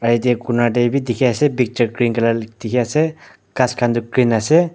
aro yatae Korner tae bi dikhiase picture green colour dikhiase ghas khan toh green ase.